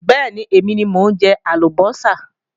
Bẹ́ẹ̀ni, èmi ni mo ń jẹ àlùbọ́sà